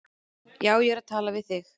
Já, ég er að tala við þig!